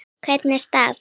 Hvernig staf